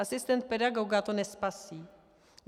Asistent pedagoga to nespasí.